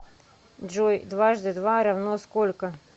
джой дважды два равно сколько